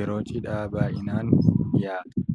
yeroo cidhaa baay'inaan dhiyaata.